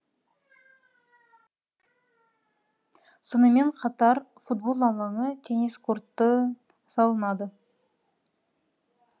сонымен қатар футбол алаңы теннис корты салынады